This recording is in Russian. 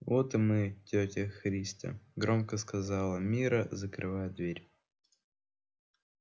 вот и мы тётя христя громко сказала мирра закрывая дверь